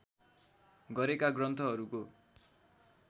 गरेका ग्रन्थहरूको